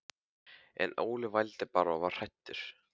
En Óli vældi bara og var hræddur.